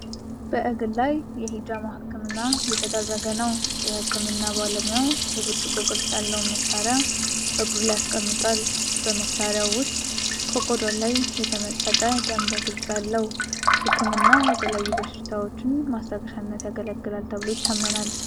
በእግር ላይ የሂጃማ ሕክምና አየተደረገ ነው ፡፡ የሕክምናው ባለሙያ የብርጭቆ ቅርጽ ያለውን መሳርያ በእግሩ ላይ አስቀምጧል፡፡ በመሳርያው ውስጥ ከቆዳው ላይ የተመጠጠ ደም በግልጽ አለው፡፡ ሕክምናው ለተለያዩ በሽታዎች ማስታገሻነት ያገለግላል ተብሎ ይታመናል፡፡